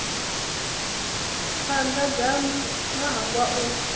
khwanda dzanu no hangwa u